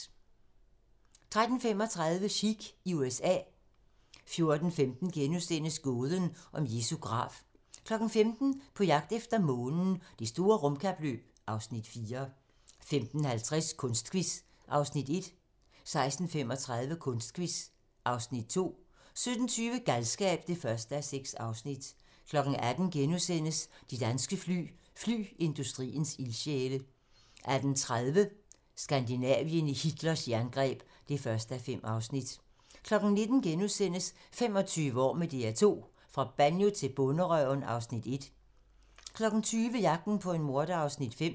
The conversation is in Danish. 13:35: Sikh i USA 14:15: Gåden om Jesu grav * 15:00: På jagt efter Månen - Det store rumkapløb (Afs. 4) 15:50: Kunstquiz (Afs. 1) 16:35: Kunstquiz (Afs. 2) 17:20: Galskab (1:6) 18:00: De danske fly - flyindustriens ildsjæle * 18:30: Skandinavien i Hitlers jerngreb (1:5) 19:00: 25 år med DR2 - fra Banjo til Bonderøven (Afs. 1)* 20:00: Jagten på en morder (Afs. 5)